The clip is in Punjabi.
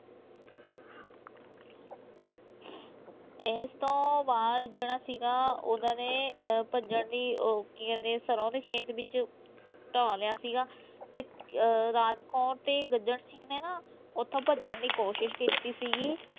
ਇਸ ਤੋਂ ਬਾਅਦ ਜਿਹੜਾ ਸੀਗਾ ਉਹਨਾਂ ਨੇ ਅਹ ਭੱਜਣ ਦੀ ਉਹ ਕੀ ਕਹਿੰਦੇ ਸਰੋਂ ਦੇ ਖੇਤ ਵਿੱਚ ਢਾਹ ਲਿਆ ਸੀਗਾ ਤੇ ਅਹ ਰਾਜ ਕੌਰ ਤੇ ਗੱਜਣ ਸਿੰਘ ਨੇ ਨਾ ਉੱਥੋਂ ਭੱਜਣ ਦੀ ਕੋਸ਼ਿਸ਼ ਕੀਤੀ ਸੀਗੀ।